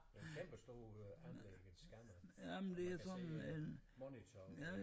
Det en kæmpe stor anlægget scanner og man kan se monitor